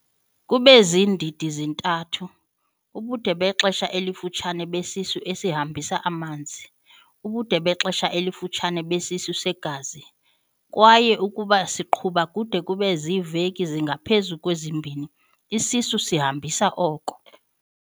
kube ziindidi ezintathu- ubude bexesha elifutshane besisu esihambisa amanzi, ubude bexesha elifutshane besisu segazi, kwaye ukuba siqhuba kude kube ziiveki ezingaphezu kwezimbini, isisu esihambisa oko.